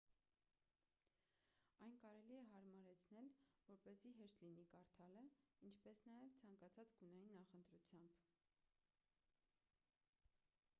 այն կարելի է հարմարեցնել որպեսզի հեշտ լինի կարդալը ինչպես նաև ցանկացած գունային նախընտրությամբ